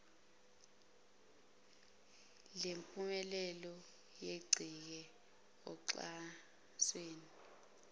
lempumelelo yencike oxhasweni